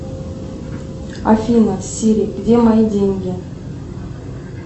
афина сири где мои деньги